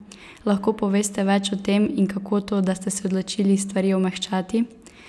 Lahko poveste več o tem in kako to, da ste se odločili stvari omehčati?